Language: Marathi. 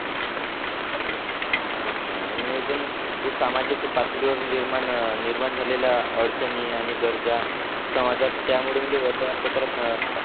हां हां आणि अजून जे सामाजिक पातळीवर निर्माण निर्माण झालेल्या अडचणी आणि गरजा समजतात त्यामुळे म्हणजे वर्तमानपत्रातनं.